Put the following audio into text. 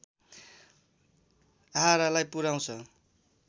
आहारालाई पुर्‍याउँछ